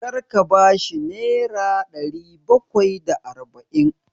Kar ka ba shi nera ɗari bakwai da arba'in!